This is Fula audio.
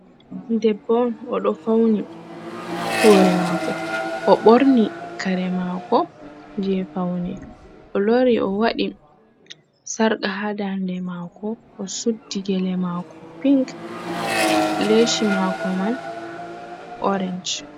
Debbo on, o ɗo fawni hoore maako, o ɓorni kare maako jey fawni, o lori o waɗi sarka haa daande maako, o suddi gele maako ping, leesi maako man oorec.